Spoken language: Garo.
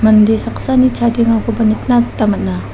mande saksani chadengakoba nikna gita man·a.